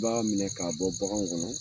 I b'a minɛ k'a bɔ baganw kɔnɔ